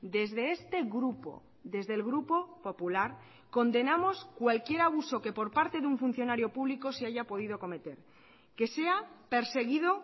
desde este grupo desde el grupo popular condenamos cualquier abuso que por parte de un funcionario público se haya podido cometer que sea perseguido